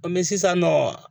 An sisan nɔ